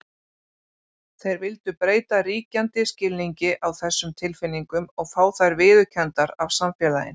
Þeir vildu breyta ríkjandi skilningi á þessum tilfinningum og fá þær viðurkenndar af samfélaginu.